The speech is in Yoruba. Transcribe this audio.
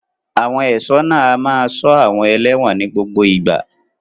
Àwọn ẹ̀ṣọ́ náà a máa ṣọ́ àwọn ẹlẹ́wọ̀n ní gbogbo ìgbà.